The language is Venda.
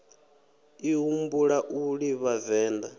ḓi humbula u livha venḓa